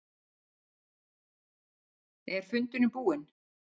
Er fundurinn búinn?